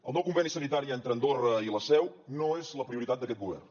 el nou conveni sanitari entre andorra i la seu no és la prioritat d’aquest govern